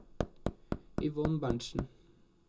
Yvonne Berntsen